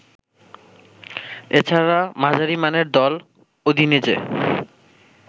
এছাড়া মাঝারিমানের দল উদিনেজে